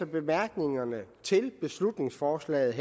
i bemærkningerne til beslutningsforslaget